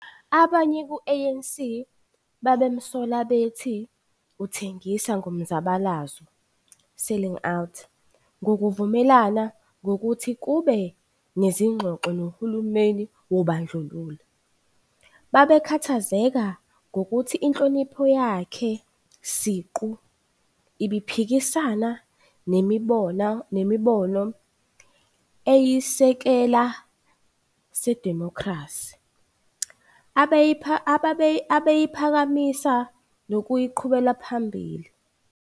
Abanye ku-ANC babemsola bethu uthengise ngomzabalazo, selling out, ngokuvumelana ngokuthi kube nezingxoxo nohulumeni wobandlululo. Babekhathazeka ngokuthi inhlonipho yakhe siqu, ibiphikisana nemibono eyisisekela sedimokhrasi, abeyiphakamisa nokuyiqhubela phambili.